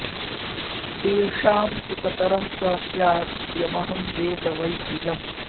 तेषां तु कतरः स स्याद्यमहं वेद वै द्विजम्